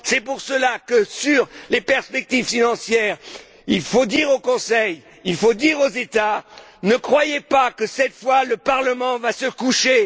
C'est pour cela que, s'agissant des perspectives financières, il faut dire au Conseil, il faut dire aux États Ne croyez pas que cette fois le Parlement va se coucher.